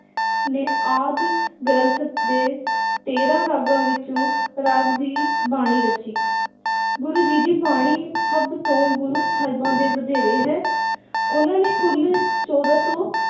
ਨੇ ਆਦਿ ਗ੍ਰੰਥ ਦੇ ਤੇਰਾਂ ਰਾਗਾਂ ਵਿੱਚੋਂ ਰਾਗ ਦੀ ਬਾਣੀ ਰਚੀ ਗੁਰੂ ਜੀ ਦੀ ਬਾਣੀ ਸਭ ਤੋਂ ਗੁਰੂ ਸਾਹਿਬਾਂ ਦੇ ਵਧੈਰੇ ਹੈ ਉਹਨਾਂ ਨੇ ਕੁੱਲ ਚੋਦਾਂ ਸੌ